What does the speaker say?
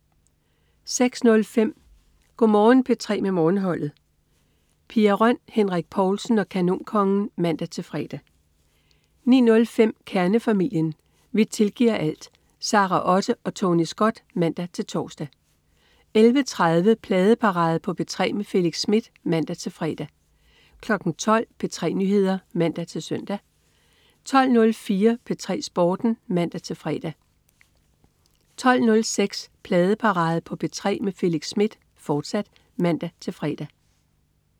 06.05 Go' Morgen P3 med Morgenholdet. Pia Røn, Henrik Povlsen og Kanonkongen (man-fre) 09.05 Kernefamilien. Vi tilgiver alt! Sara Otte og Tony Scott (man-tors) 11.30 Pladeparade på P3 med Felix Smith (man-fre) 12.00 P3 Nyheder (man-søn) 12.04 P3 Sporten (man-fre) 12.06 Pladeparade på P3 med Felix Smith, fortsat (man-fre)